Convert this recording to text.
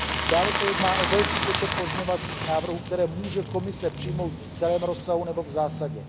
Dále se jedná o velký počet pozměňovacích návrhů, které může Komise přijmout v celém rozsahu nebo v zásadě.